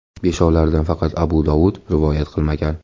Beshovlaridan faqat Abu Dovud rivoyat qilmagan.